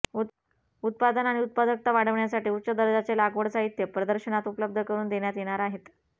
उत्पादन आणि उत्पादकता वाढवण्यासाठी उच्च दर्जाचे लागवड साहित्य प्रदर्शनात उपलब्घ करून देण्यात येणार आहेत